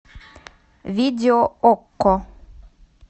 видео окко